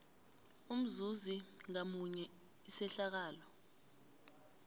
umzuzi ngamunye isehlakalo